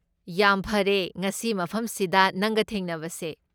ꯌꯥꯝ ꯐꯔꯦ ꯉꯁꯤ ꯃꯐꯝꯁꯤꯗ ꯅꯪꯒ ꯊꯦꯡꯅꯕꯁꯦ꯫